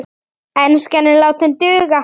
Enskan er látin duga.